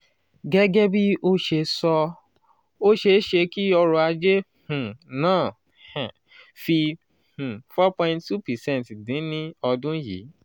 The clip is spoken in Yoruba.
gege bi o se so o seese ki oro-aje um naa um fi um for point two percent din ni odun yii.